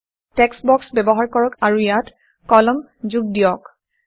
text box ব্যৱহাৰ কৰক আৰু ইয়াত কলম যোগ দিয়ক